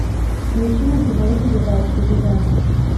включи на тв передачу еда